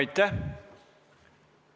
Aitäh!